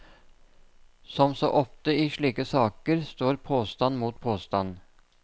Som så ofte i slike saker står påstand mot påstand.